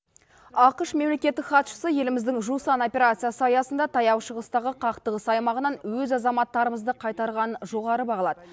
ақш мемлекеттік хатшысы еліміздің жусан операциясы аясында таяу шығыстағы қақтығыс аймағынан өз азаматтарымызды қайтарғанын жоғары бағалады